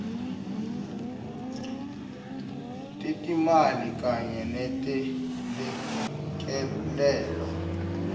tetimali kanye netelekelelo